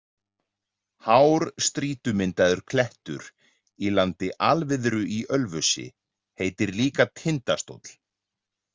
Hár strýtumyndaður klettur í landi Alviðru í Ölfusi heitir líka Tindastóll.